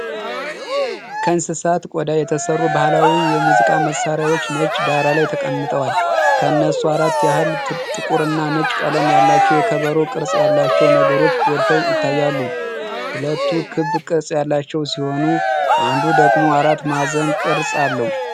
ከእንስሳት ቆዳ የተሰሩ ባህላዊ የሙዚቃ መሳሪያዎች ነጭ ዳራ ላይ ተቀምጠዋል። ከነሱ አራት ያህል ጥቁርና ነጭ ቀለም ያላቸው የከበሮ ቅርጽ ያላቸው ነገሮች ጎልተው ይታያሉ። ሁለቱ ክብ ቅርጽ ያላቸው ሲሆኑ፣ አንዱ ደግሞ አራት ማዕዘን ቅርጽ አለው።